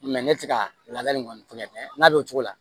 ne tɛ ka laada nin kɔni tɛ kɛ n ka don o cogo la